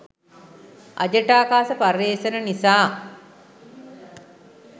අජටාකාශ පර්යේෂණ නිසා